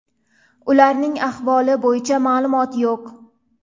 Ularning ahvoli bo‘yicha ma’lumot yo‘q.